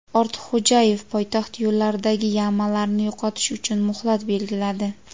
Ortiqxo‘jayev poytaxt yo‘llaridagi "yama"larni yo‘qotish uchun muhlat belgiladi.